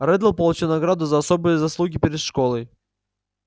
реддл получил награду за особые заслуги перед школой